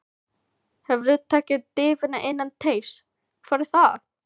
Hefurðu tekið dýfu innan teigs: Hvað er það?